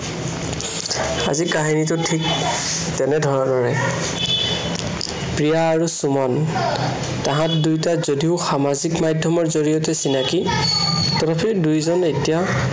আজিৰ কাহিনীটো ঠিক তেনে ধৰনৰেই। প্ৰিয়া আৰু সুমন। তাহাঁত দুয়োটাই যদিও সামাজিক মাধ্য়মৰ জড়িয়তে চিনাকি তথাপি দুয়োজন এতিয়া